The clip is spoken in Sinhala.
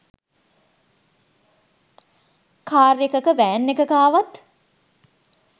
කාර් එකක වෑන් එකක ආවත්